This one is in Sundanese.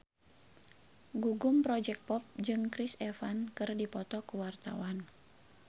Gugum Project Pop jeung Chris Evans keur dipoto ku wartawan